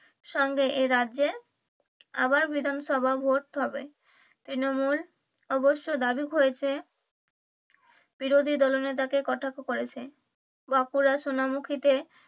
সঙ্গে এই রাজ্যে আবার বিধানসভা ভোট হবে তৃণমূল অবশ্য দাবি করেছে বিরোধী দলনেতাকে কটাক্ষ করেছে বাঁকুড়া সোনামুখিতে,